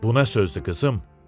Bu nə sözdü, qızım?